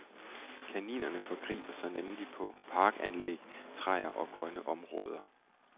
Kaninerne forgriber sig nemlig på parkanlæg, træer og grønne områder.